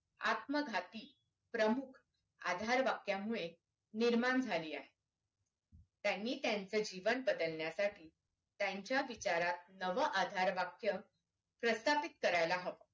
आत्मघाती प्रमुख आधार वाक्यामुळे निर्माण झाली आहे त्यांनी त्यांचं जीवन बदलण्यासाठी त्यांच्या विचारत नवं आधार वाक्य प्रस्थापित करायला हवं